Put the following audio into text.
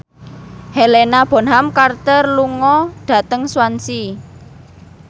Helena Bonham Carter lunga dhateng Swansea